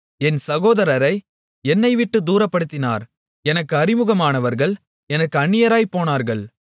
என் சகோதரரை என்னைவிட்டுத் தூரப்படுத்தினார் எனக்கு அறிமுகமானவர்கள் எனக்கு அந்நியராய்ப் போனார்கள்